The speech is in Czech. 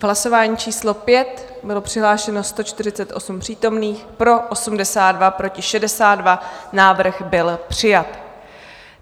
V hlasování číslo 5 bylo přihlášeno 148 přítomných, pro 82, proti 62, návrh byl přijat.